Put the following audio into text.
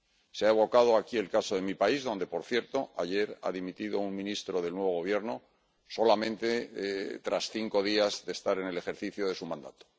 Se ha evocado aquí el caso de mi país, donde, por cierto, ayer ha dimitido un ministro del nuevo Gobierno solamente tras cinco días de estar en el ejercicio de su mandato.